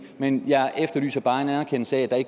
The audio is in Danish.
men jeg efterlyser bare en anerkendelse af